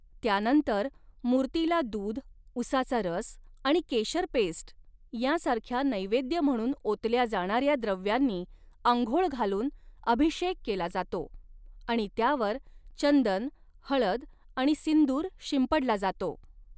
त्यानंतर मूर्तीला दूध, उसाचा रस आणि केशर पेस्ट यांसारख्या नैवेद्य म्हणून ओतल्या जाणाऱ्या द्रव्यांनी आंघोळ घालून अभिषेक केला जातो आणि त्यावर चंदन, हळद आणि सिंदूर शिंपडला जातो.